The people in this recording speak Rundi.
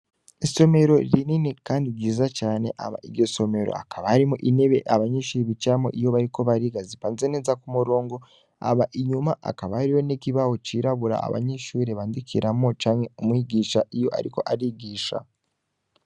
Isomero rinini kandi ryiza cane hama iryo somero hakaba harimwo intebe abanyeshure bicaramwo iyo bariko bariga, zipanze neza k'umurongo, hama inyuma hakaba hariho n'ikibaho cirabura abanyeshure bandikiramwo canke umwigisha iyo ariko arigisha.